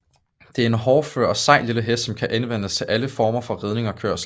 Det er en hårdfør og sej lille hest som kan anvendes til alle former for ridning og kørsel